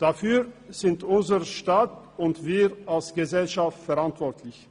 Dafür sind unser Staat und wir als Gesellschaft verantwortlich.